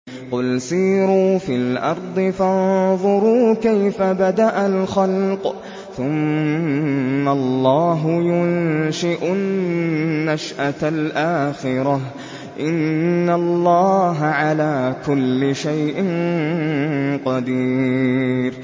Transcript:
قُلْ سِيرُوا فِي الْأَرْضِ فَانظُرُوا كَيْفَ بَدَأَ الْخَلْقَ ۚ ثُمَّ اللَّهُ يُنشِئُ النَّشْأَةَ الْآخِرَةَ ۚ إِنَّ اللَّهَ عَلَىٰ كُلِّ شَيْءٍ قَدِيرٌ